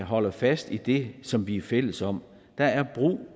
holder fast i det som vi er fælles om der er brug